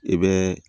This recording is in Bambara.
I bɛ